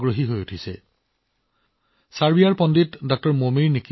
তেনে এজন ব্যক্তি হৈছে ছাৰ্বিয়ান পণ্ডিত ডঃ মোমিৰ নিকিচ ছাৰ্বিয়ান পণ্ডিত ডঃ মোমিৰ নিকিচ